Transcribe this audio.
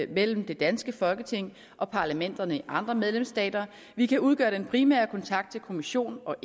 mellem det danske folketing og parlamenterne i andre medlemsstater vi kan udgøre den primære kontakt til kommissionen og